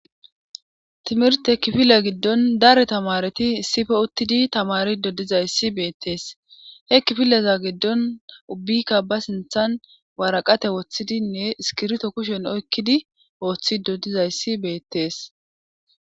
timirte kifila giddon dare tamareti issife uttidi tamari dodizayssi beettees he kifileza giddon ubbikka ba sinthan waraqate woththidinne iskirto kushen oykkidi ooththi dodizayssi beettees